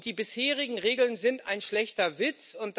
Die bisherigen Regeln sind ein schlechter Witz.